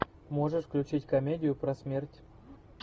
можешь включить комедию про смерть